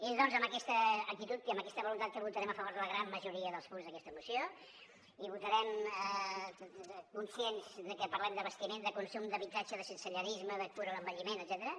és doncs amb aquesta actitud i amb aquesta voluntat que votarem a favor de la gran majoria dels punts d’aquesta moció i votarem conscients de que parlem d’abastiment de consum d’habitatge de sensellarisme de cura a l’envelliment etcètera